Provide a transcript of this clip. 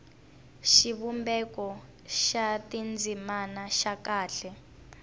xivumbeko xa tindzimana xa kahle